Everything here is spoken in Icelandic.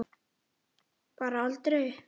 Bara aldrei.